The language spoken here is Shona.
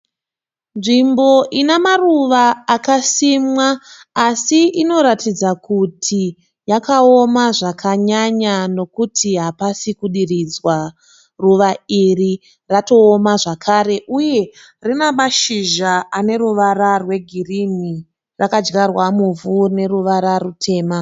Nzvimbo ina maruva akasimwa asi inoratidza kuti yakaoma zvakanyanya nokuti hapasi kudiridzwa. Ruva iri ratooma zvakare uye rina mashizha ane ruvara rwegirini. Rakadyarwa muvhu rine ruvara rutema.